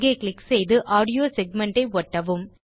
அங்கே க்ளிக் செய்து audio segment ஐ ஒட்டவும்